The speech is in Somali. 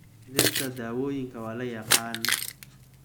Dhirta dawooyinka waa la yaqaan.